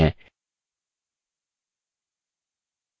एक नया typing session शुरू करते हैं